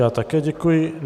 Já také děkuji.